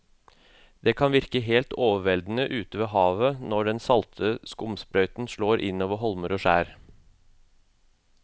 Det kan virke helt overveldende ute ved havet når den salte skumsprøyten slår innover holmer og skjær.